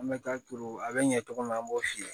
An bɛ taa turu a bɛ ɲɛ cogo min na an b'o f'i ye